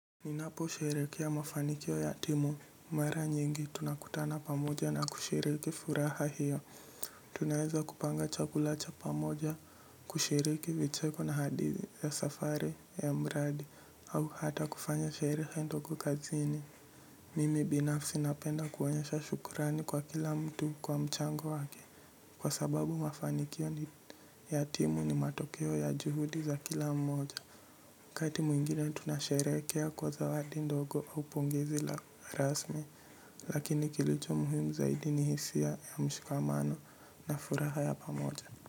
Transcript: Ninapo sherehekea mafanikio ya timu, mara nyingi tunakutana pamoja na kusherehekea furaha hiyo. Tunaweza kupanga chakula cha pamoja, kushiriki vicheko na hadithi ya safari ya mradi, au hata kufanya sherehe ndogo kazini. Mimi binafsi napenda kuonyesha shukrani kwa kila mtu kwa mchango wake, kwa sababu mafanikio ya timu ni matokeo ya juhudi za kila mmoja. Wakati mwingine tunasherehekea kwa zawadi ndogo au pongezi la rasmi. Lakini kilicho muhimu zaidi ni hisia ya mshikamano na furaha ya pamoja.